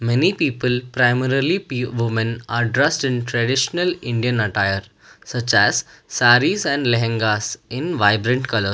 Many people primarily p women are dressed in traditional indian attire such as sarees and lehengas in vibrant colours.